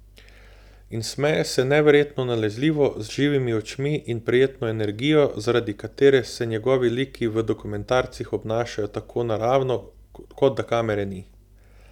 In smeje se neverjetno nalezljivo, z živimi očmi in prijetno energijo, zaradi katere se njegovi liki v dokumentarcih obnašajo tako naravno, kot da kamere ni.